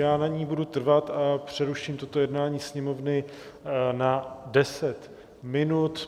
Já na ní budu trvat a přeruším toto jednání Sněmovny na 10 minut.